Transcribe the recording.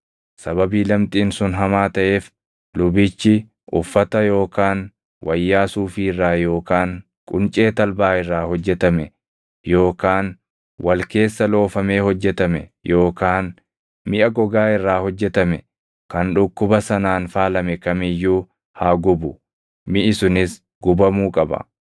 Sababii lamxiin sun hamaa taʼeef lubichi uffata yookaan wayyaa suufii irraa yookaan quncee talbaa irraa hojjetame yookaan wal keessa loofamee hojjetame yookaan miʼa gogaa irraa hojjetame kan dhukkuba sanaan faalame kam iyyuu haa gubu; miʼi sunis gubamuu qaba.